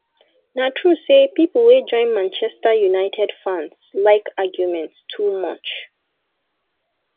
na true say people wey join manchester united fans like argument too much